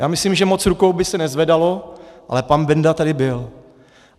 Já myslím, že moc rukou by se nezvedalo, ale pan Benda tady byl.